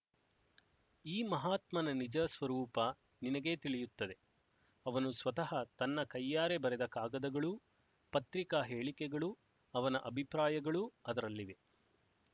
ಈ ಮಹಾತ್ಮನ ನಿಜ ಸ್ವರೂಪ ನಿನಗೇ ತಿಳಿಯುತ್ತದೆ ಅವನು ಸ್ವತಃ ತನ್ನ ಕೈಯಾರೆ ಬರೆದ ಕಾಗದಗಳೂ ಪತ್ರಿಕಾ ಹೇಳಿಕೆಗಳೂ ಅವನ ಅಭಿಪ್ರಾಯಗಳೂ ಅದರಲ್ಲಿವೆ